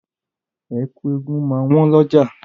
Ẹ̀kú eégun máa wọ́n lọ́jà.